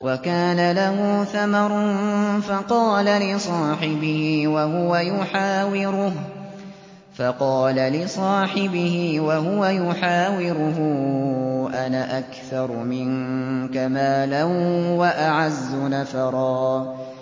وَكَانَ لَهُ ثَمَرٌ فَقَالَ لِصَاحِبِهِ وَهُوَ يُحَاوِرُهُ أَنَا أَكْثَرُ مِنكَ مَالًا وَأَعَزُّ نَفَرًا